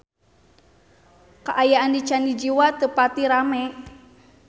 Kaayaan di Candi Jiwa teu pati rame